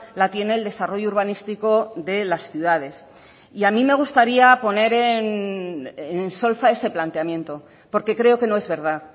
la tiene el desarrollo urbanístico de las ciudades y a mí me gustaría poner en solfa ese planteamiento porque creo que no es verdad